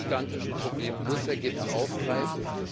Diese gigantischen Probleme muss der Gipfel aufgreifen.